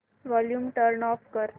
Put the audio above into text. volume turn off कर